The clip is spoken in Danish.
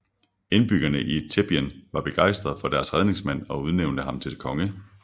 Indbyggerne i Theben var begejstrede for deres redningsmand og udnævnte ham til konge